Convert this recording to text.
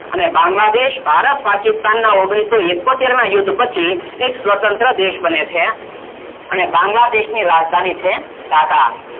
અને બાંગ્લાદેશ ભારત પાકિસ્તાન નો ઓગણસોએકોતેર ના યુદ્ધ પછી એક સ્વતંત્ર દેશ બને છે અને બાંગ્લાદેશ ની રાજધાની છે ઢાકા